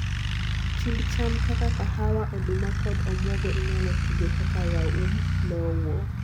Chind cham kaka kahawa, oduma kod omuogo inyalo tigo kaka raum lowo.